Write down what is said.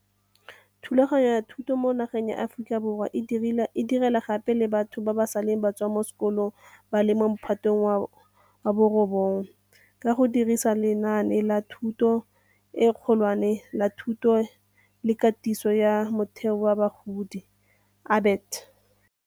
Thulaganyo ya thuto mo nageng ya Aforika Borwa e direla gape le batho ba ba seleng ba tswa mo sekolong ba le mo Mophatong wa bo 9, ka go dirisa lenaane la Thuto e Kgolwane la Thuto le Katiso ya Motheo ya Bagodi, ABET.